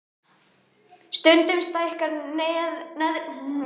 Stundum stækkar neðri hluti nefs og roðnar.